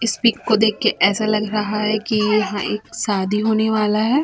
इस पिक को देख के ऐसा लग रहा है की यहां एक शादी होने वाला है।